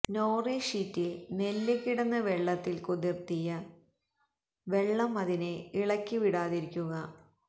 nori ഷീറ്റിൽ നെല്ല് കിടന്ന് വെള്ളത്തിൽ കുതിർത്തിയ വെള്ളം അതിനെ ഇളക്കിവിടാതിരിക്കുക